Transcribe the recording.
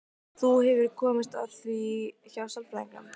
Þú hefur komist að því hjá sálfræðingnum?